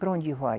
Para onde vai?